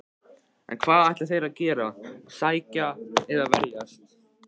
En hvað ætla þeir að gera, sækja eða verjast?